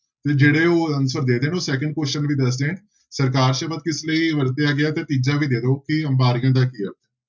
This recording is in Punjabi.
ਤੇ ਜਿਹੜੇ ਹੋਰ answer ਦੇ ਰਹੇ ਨੇ ਉਹ second question ਵੀ ਦੱਸ ਦੇਣ, ਸਰਕਾਰ ਸ਼ਬਦ ਕਿਸ ਲਈ ਵਰਤਿਆ ਗਿਆ ਹੈ ਤੇ ਤੀਜਾ ਵੀ ਦੇ ਦਓ ਕਿ ਅੰਬਾਰੀਆ ਦਾ